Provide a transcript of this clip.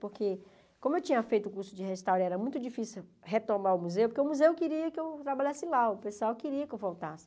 Porque, como eu tinha feito o curso de restaure, era muito difícil retomar o museu, porque o museu queria que eu trabalhasse lá, o pessoal queria que eu voltasse.